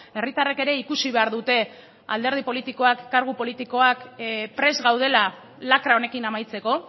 herritarrek ere ikusi behar dute alderdi politikoak kargu politikoak prest gaudela lakra honekin amaitzeko